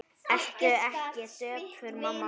Vertu ekki döpur mamma mín.